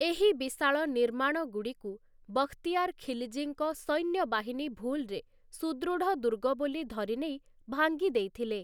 ଏହି ବିଶାଳ ନିର୍ମାଣଗୁଡ଼ିକୁ ବଖ୍‌ତିୟାର ଖିଲ୍‌ଜୀଙ୍କ ସୈନ୍ୟବାହିନୀ ଭୁଲ୍‌ରେ ସୁଦୃଢ଼ ଦୁର୍ଗ ବୋଲି ଧରିନେଇ ଭାଙ୍ଗି ଦେଇଥିଲେ ।